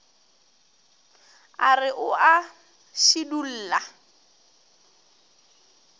a re o a šidulla